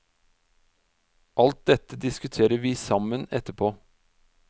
Alt dette diskuterer vi sammen etterpå.